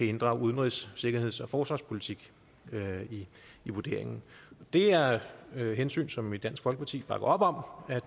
inddrage udenrigs sikkerheds og forsvarspolitik i vurderingen det er hensyn som vi i dansk folkeparti bakker op om